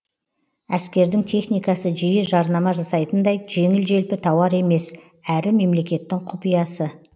әскердің техникасы жиі жарнама жасайтындай жеңіл желпі тауар емес әрі мемлекеттің құпиясы